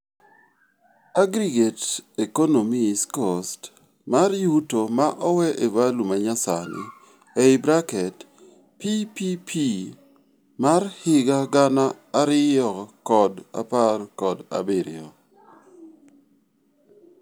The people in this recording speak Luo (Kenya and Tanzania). Aggregate economis cost mar yuto ma owee e value manyasani (PPP mar higa gana ariyo kod apar kod abirio)